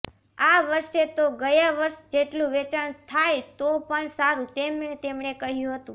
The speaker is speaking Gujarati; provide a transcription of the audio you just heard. આ વર્ષે તો ગયા વર્ષ જેટલું વેચાણ થાય તો પણ સારું તેમ તેમણે કહ્યું હતું